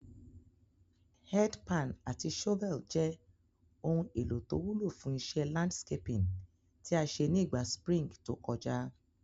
Head pan àti shovel je oun èlò to wúlò fún isé landscaping tí a sé ni ìgba spring to kojá